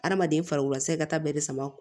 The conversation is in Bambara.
Adamaden farikolo segi ka taa bɛɛ de sama